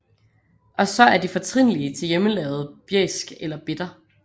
Og så er de fortrinlige til hjemmelavet bjæsk eller bitter